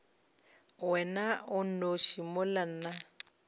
wena o nnoši mola nna